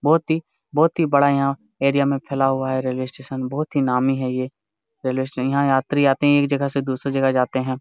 बहुत ही बहुत ही बड़ा यहाँ एरिया में फैला हुआ है रेलवे स्टेशन बहुत ही नामी है ये रेलवे स्टेशन । यहाँ यात्री आते है एक जगह से दूसरी जगह जाते है।